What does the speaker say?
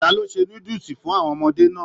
Ta lo ṣe núdúsí fún àwọn ọmọdé náà?